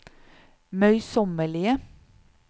møysommelige